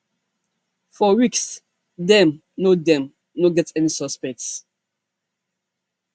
for weeks dem no dem no get any suspects